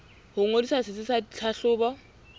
ho ngodisa setsi sa tlhahlobo